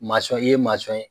i ye ye.